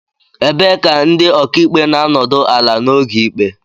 Ebee ka ndị okaikpe na-anọdụ ala n'oge ikpe